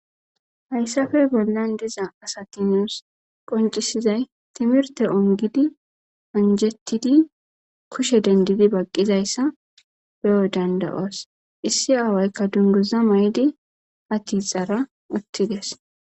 Hayssafe bollan diza asatinos qoncisizay timirte ongidi onjettidi kushe dendidi baqqizayssa be'o dandayoos issi aawaykka dunduza may'di hatixara utti dees